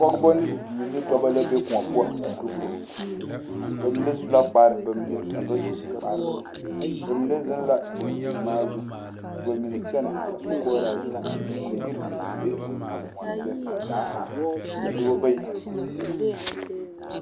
Pɔgeba ne bibiiri la be koɔ poɔ a dugiro bamine su la kpare ka bamine a ba su kpare bamine zeŋ la daŋkyiŋmaa zu ka bamine kyɛnɛ a sɔkoɔraa zu ka yiri be a koɔ seɛ ka daa are ka dɔba bayi are yele yɛlɛ.